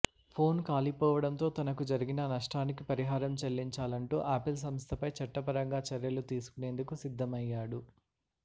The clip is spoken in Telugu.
ఫోన్ కాలిపోవడంతో తనకు జరిగిన నష్టానికి పరిహారం చెల్లించాలంటూ ఆపిల్ సంస్థపై చట్టపరంగా చర్యలు తీసుకునేందుకు సిద్ధమయ్యాడు